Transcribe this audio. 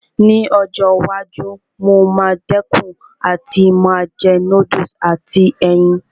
Ní ọjọ́ iwájú, mo máa dẹ̀kun àti máa jẹ núdùsì àti ẹyin